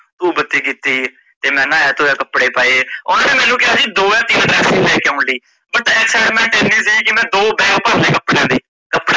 ਧੂਫ਼ ਬੱਤੀ ਕੀਤੀ ਤੇ ਮੈ ਨਾਇਆ ਧੋਇਆ ਕੱਪੜੇ ਪਾਏ, ਓਨਾ ਮੈਂਨੂੰ ਕਿਆ ਸੀ ਦੋ ਜਾ ਤੀਨ dresses ਲੈਕੇ ਕੇ ਆਉਣ ਲਈ but ਮੈ ਏਸ ਸਮੇ excitement ਏਨੀ ਸੀ ਕੀ ਮੈ ਦੋ bag ਭਰ ਲਏ ਕੱਪ।